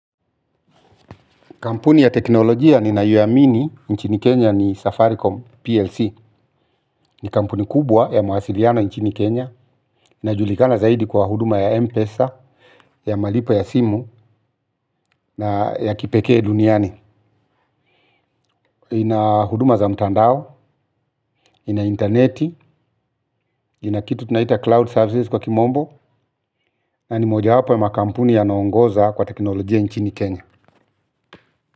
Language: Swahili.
Kampuni ya teknolojia ninayoamini nchini Kenya ni safaricom PLC ni kampuni kubwa ya mawasiliano nchini Kenya. Inajulikana zaidi kwa huduma ya Mpesa, ya malipo ya simu na ya kipekee duniani. Ina huduma za mtandao, ina interneti, ina kitu tunaita cloud services kwa kimombo na ni moja hapa ya makampuni yanayongoza kwa teknolojia nchini Kenya.